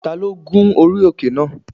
Ta ló gun orí òkè náà?